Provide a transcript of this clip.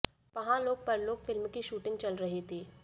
पहां Lok Parlok film की shooting चल रही थी